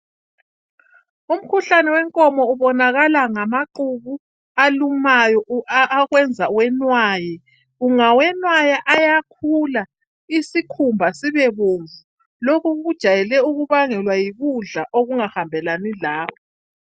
Umkhuhlane wenkomo ubonakala ngaqubu alumayo akwenza uwenwaye. Ungawenwaya ayakhula isikhumba sibe bomvu lokho kujayele ukubangelwa yikudla okungahambelani lawe.